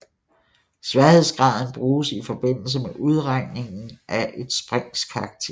Sværhedsgraden bruges i forbindelse med udregningen af et springs karakter